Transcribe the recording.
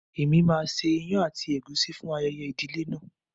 Èmi máa ṣe ìyàn àti ègúsí fún ayẹyẹ ìdílé náà.